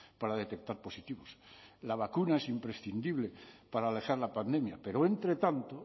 para detectar positivos la vacuna es imprescindible para alejar la pandemia pero entre tanto